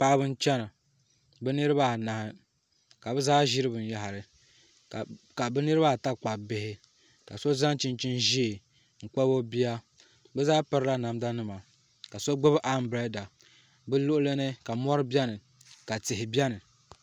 Paɣaba n chɛna bi niraba anahi ka bi zaa ʒiri binyahari ka niraba ata kpabi bihi ka so zaŋ chinchin ʒiɛ n kpabi o bia bi zaa pirila namda nima ka so gbubi anbirɛla bi luɣuli ni mori biɛni ka tihi biɛni